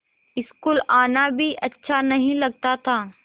school आना भी अच्छा नहीं लगता था